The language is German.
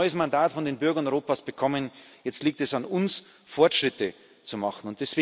Wir haben ein neues Mandat von den Bürgern Europas bekommen, jetzt liegt es an uns, Fortschritte zu machen.